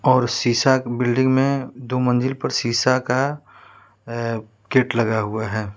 और शीशा की बिल्डिंग में दो मंजिल पर शीशा का अं गेट लगा हुआ है।